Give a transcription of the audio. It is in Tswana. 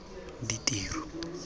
ditiro